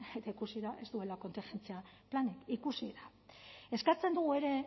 eta ikusi da ez duela kontingentzia planik ikusi da eskatzen dugu ere